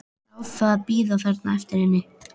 Sjá það bíða þarna eftir henni.